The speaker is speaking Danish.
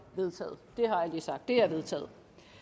vedtaget det er vedtaget